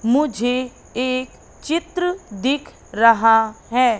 मुझे एक चित्र दिख रहा है।